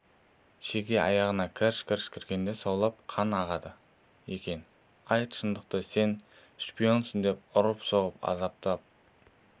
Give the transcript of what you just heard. шеге аяғына кірш-кірш кіргенде саулап қана ағады екен айт шындықты сен шпионсың деп ұрып-соғып азаптап